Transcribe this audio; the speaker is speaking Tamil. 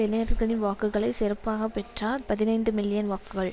இனையர்களின் வாக்குகளை சிறப்பாக பெற்றார் பதினைந்து மில்லியன் வாக்குகள்